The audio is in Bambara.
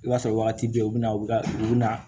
I b'a sɔrɔ wagati bɛɛ u bɛna u bɛ u bɛ na